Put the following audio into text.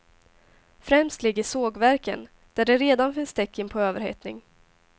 Främst ligger sågverken, där det redan finns tecken på överhettning.